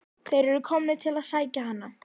Þeir eru komnir til að sækja hana.